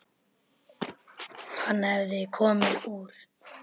Hann hafði komið úr